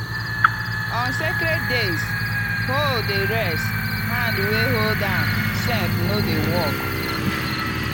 on sacred days hoe dey rest hand wey hold am sef no dey work.